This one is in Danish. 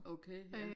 Okay ja